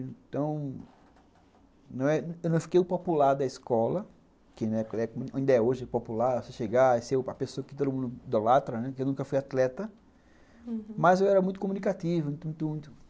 Então, eu não fiquei o popular da escola, que na época, ainda é hoje popular você chegar e ser a pessoa que todo mundo idolatra, né, que eu nunca fui atleta, mas eu era muito comunicativo, muito, muito, muito.